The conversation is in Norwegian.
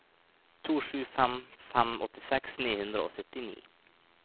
to sju fem fem åttiseks ni hundre og syttini